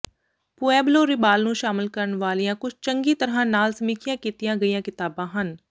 Pueblo ਰਿਬਾਲ ਨੂੰ ਸ਼ਾਮਲ ਕਰਨ ਵਾਲੀਆਂ ਕੁੱਝ ਚੰਗੀ ਤਰ੍ਹਾਂ ਨਾਲ ਸਮੀਖਿਆ ਕੀਤੀਆਂ ਗਈਆਂ ਕਿਤਾਬਾਂ ਹਨ